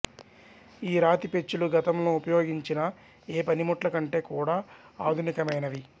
ఈ రాతి పెచ్చులు గతంలో ఉపయోగించిన ఏ పనిముట్ల కంటే కూడా ఆధునికమైనవి